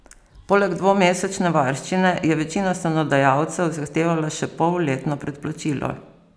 Poleg dvomesečne varščine je večina stanodajalcev zahtevala še polletno predplačilo.